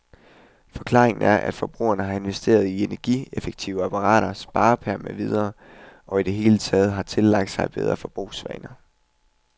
Forklaringen er, at forbrugerne har investeret i energieffektive apparater, sparepærer med videre, og i det hele taget har tillagt sig bedre forbrugsvaner.